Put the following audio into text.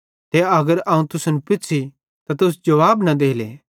ते अगर अवं तुसन पुछ़ी त तुस जुवाबे न देले